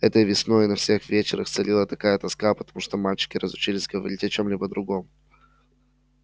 этой весной на всех вечерах царила такая тоска потому что мальчики разучились говорить о чём-либо другом